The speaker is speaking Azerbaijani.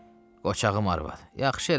Qoçağım arvad, yaxşı eləmisən.